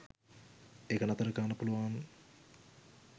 ඒක නතර කරන්න පුලුවන්